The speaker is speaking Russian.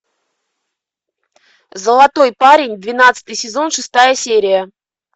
золотой парень двенадцатый сезон шестая серия